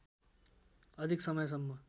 अधिक समयसम्म